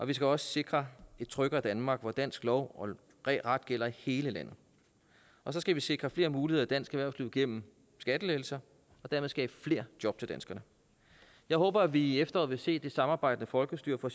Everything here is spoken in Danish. vi skal også sikre et tryggere danmark hvor dansk lov og ret gælder i hele landet og så skal vi sikre flere muligheder i dansk erhvervsliv gennem skattelettelser og dermed skabe flere job til danskerne jeg håber at vi i efteråret vil se det samarbejdende folkestyre fra